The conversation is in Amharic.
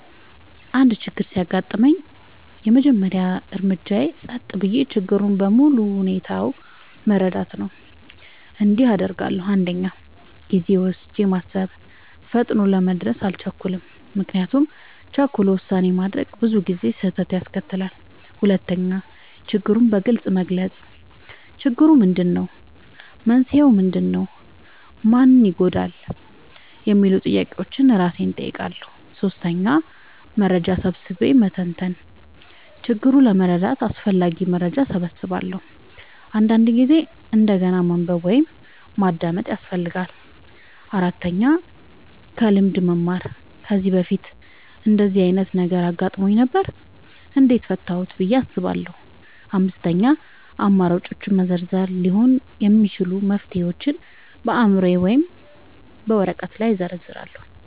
አንድ ችግር ሲያጋጥመኝ፣ የመጀመሪያው እርምጃዬ ጸጥ ብዬ ችግሩን በሙሉ ሁኔታው መረዳት ነው። እንዲህ አደርጋለሁ፦ 1. ጊዜ ወስጄ ማሰብ – ፈጥኖ ለመድረስ አልቸኩልም፤ ምክንያቱም ቸኩሎ ውሳኔ ማድረግ ብዙ ጊዜ ስህተት ያስከትላል። 2. ችግሩን በግልጽ መግለጽ – "ችግሩ ምንድነው? መንስኤው ምንድነው? ማን ይጎዳል?" የሚሉ ጥያቄዎችን እራሴን እጠይቃለሁ። 3. መረጃ ሰብስቤ መተንተን – ችግሩን ለመረዳት አስፈላጊ መረጃ እሰበስባለሁ፤ አንዳንድ ጊዜ እንደገና ማንበብ ወይም ማዳመጥ ያስፈልጋል። 4. ከልምድ መማር – "ከዚህ በፊት እንደዚህ ዓይነት ነገር አጋጥሞኝ ነበር? እንዴት ፈታሁት?" ብዬ አስባለሁ። 5. አማራጮችን መዘርዘር – ሊሆኑ የሚችሉ መፍትሄዎችን በአእምሮዬ ወይም በወረቀት ላይ እዘርዝራለሁ።